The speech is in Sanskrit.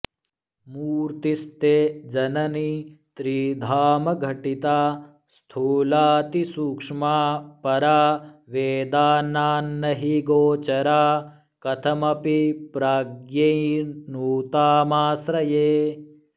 मूर्त्तिस्ते जननि त्रिधामघटिता स्थूलातिसूक्ष्मा परा वेदानान्नहि गोचरा कथमपि प्राज्ञैर्न्नुतामाश्रये